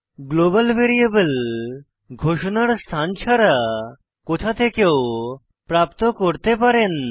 global variable ঘোষণার স্থান ছাড়া কোথা থেকেও প্রাপ্ত করতে পারেন